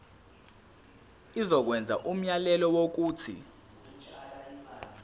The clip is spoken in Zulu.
izokwenza umyalelo wokuthi